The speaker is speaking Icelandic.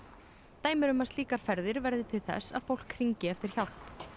dæmi eru um að slíkar ferðir verði til þess að fólk hringi eftir hjálp